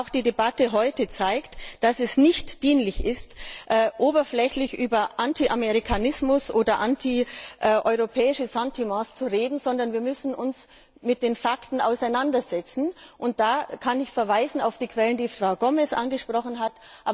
Auch die heutige Debatte zeigt, dass es nicht dienlich ist, oberflächlich über Anti Amerikanismus oder anti europäische Sentiments zu reden, sondern wir müssen uns mit den Fakten auseinandersetzen und da kann ich auf die Quellen verweisen, die Frau Gomez angesprochen hat.